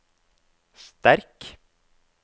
sterk